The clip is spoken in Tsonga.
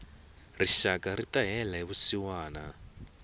rixaka rita hela hi vusiwana